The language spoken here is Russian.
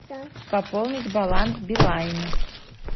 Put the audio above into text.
пополнить баланс билайна